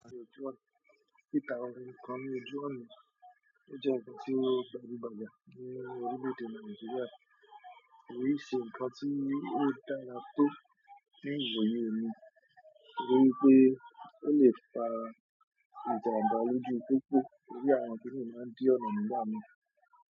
Tita òhun kàn ní Ojúọ̀nà. Ó jẹ́ nkan tí o ń deru bayan ní orílẹ̀ èdè Nàìjíríà. Ko n se nkan ti o dára tó teeyan ni omi nítorí pé ó le fa ìjàmbá lójú pópó torí àwọn to de máa ń dí ọ̀nà nígbà mìí.